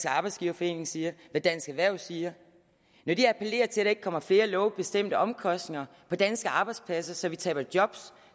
arbejdsgiverforening siger hvad dansk erhverv siger når de appellerer til at der ikke kommer flere lovbestemte omkostninger på danske arbejdspladser så vi taber job